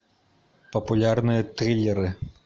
популярные триллеры